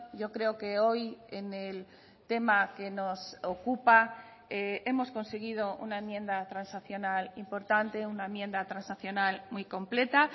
yo creo que hoy en el tema que nos ocupa hemos conseguido una enmienda transaccional importante una enmienda transaccional muy completa